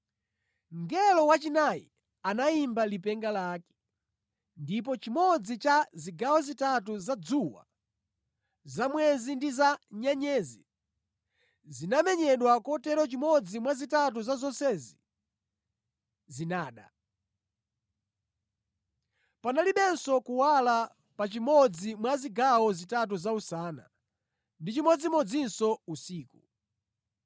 Mngelo wachinayi anayimba lipenga lake, ndipo chimodzi cha zigawo zitatu za dzuwa, za mwezi ndi za nyenyezi zinamenyedwa kotero chimodzi mwa zitatu za zonsezi zinada. Panalibenso kuwala pa chimodzi mwa zigawo zitatu za usana, ndi chimodzimodzinso usiku.